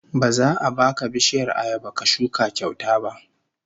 Ba za a baka bishiyar ayaba ka shuka kyauta ba